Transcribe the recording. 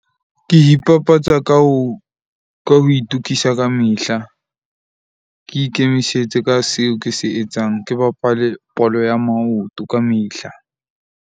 Ke ipapatsa ka ho itokisa kamehla. Ke ikemisetse ka seo ke se etsang. Ke bapale bolo ya maoto kamehla.